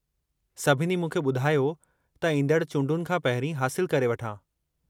सभिनी मूंखे ॿुधायो त ईंदड़ चूंडुनि खां पहिरीं हासिलु करे वठां।